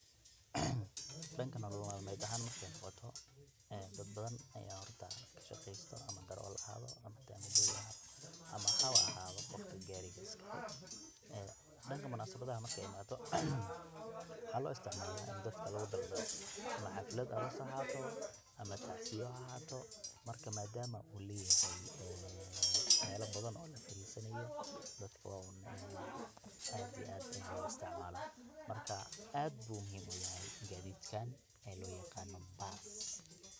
Dhanka nolol malmeed ahan markay noqoto dad badan aya horta kashaqeysta ama darawal ha ahado ama tandhiboi ha ahado ama hawa ahado qofkii gaariga iska lahay ee dhanka munasabadaha markay imaato waxaa loo isticmaala ini dadka lugu daldaalo ama xaflad aroos ha ahato ama tacsiya ha ahato marka maadama uu leyahay ee mela badan oo lafariisanayo dadka waa un in ay aad iyo aad u isticmaalan, marka aad bu muhim uyahay gaadidkan ee loo yaqaano baas.